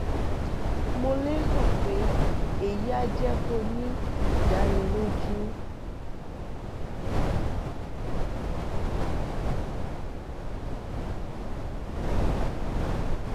mo lérò pé èyí á jẹ kó o ní ìdánilójú